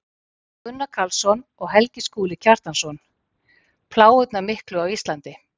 Gunnar Karlsson og Helgi Skúli Kjartansson: Plágurnar miklu á Íslandi